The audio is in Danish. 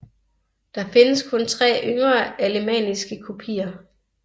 Der findes kun tre yngre alemanniske kopier